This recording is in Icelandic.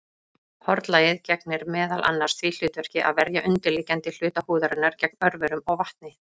Hornlagið gegnir meðal annars því hlutverki að verja undirliggjandi hluta húðarinnar gegn örverum og vatni.